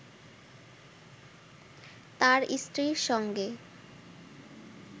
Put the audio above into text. তার স্ত্রীর সঙ্গে